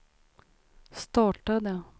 startade